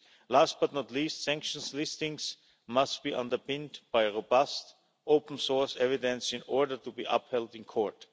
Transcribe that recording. Last but not least, sanctions listings must be underpinned by robust, open-source evidence in order to be upheld in court.